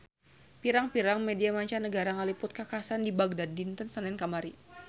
Pirang-pirang media mancanagara ngaliput kakhasan di Bagdad dinten Senen kamari